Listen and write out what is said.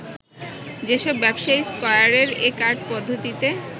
যেসব ব্যবসায়ী স্কয়ারের এ কার্ড পদ্ধতিতে